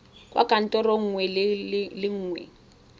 kwa kantorong nngwe le nngwe